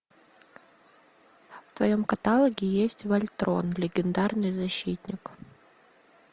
в твоем каталоге есть вольтрон легендарный защитник